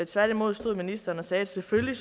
tværtimod stod ministeren og sagde at selvfølgelig